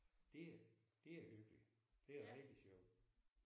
Det det er hyggeligt. Det er rigtig sjovt